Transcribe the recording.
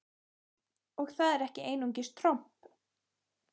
Og það er ekki einungis tromp!